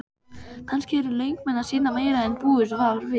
Kannski eru leikmenn að sýna meira en búist var við?